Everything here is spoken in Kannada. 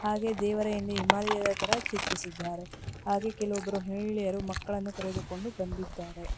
ಹಾಗೆ ದೇವರ ಹಿಂದೆ ಹಿಮಾಲಯದ ತರ ಚಿತ್ರಿಸಿದ್ದಾರೆ ಹಾಗೆ ಕೆಲವೊಬ್ಬರು ಮಹಿಳೆಯರು ಮಕ್ಕಳನ್ನು ಕರೆದುಕೊಂಡು ಬಂದಿದ್ದಾರೆ.